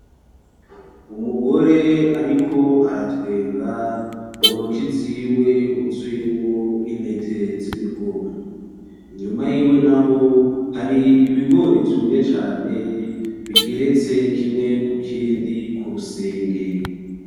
Umugore ariko aratwenga, mu ntoke ziwe huzuyemwo intete z‘ ibigori. Inyuma yiwe naho hari ibigori vyumye cane bigeretse kimwe kukindi k‘ urusenge .